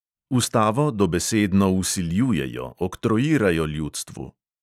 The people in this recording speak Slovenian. Ustavo dobesedno vsiljujejo, oktroirajo ljudstvu.